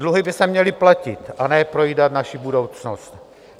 Dluhy by se měly platit a ne projídat naši budoucnost.